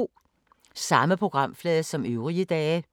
Samme programflade som øvrige dage